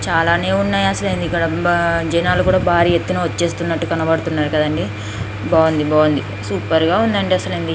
చాలానే ఉన్నాయి అసలు ఇక్కడ జనాలు కూడా భారీ ఎత్తున వచ్చేస్తున్నట్లుగా కనబడుతుంది. బావుంది బావుంది సూపర్ గా ఉంది.